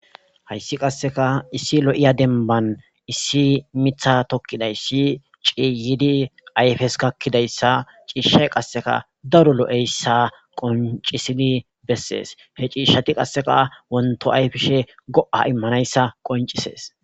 Hayssi qasseka issi lo'iya demban issi mitha tokkiday si ciiyidi ayfes kakkidayssa ciishshay qasseka daro lo'eyssa qoncisidi bessees he ciishshati qasseka wonto ayfishe go'a immanayssa qoncisees.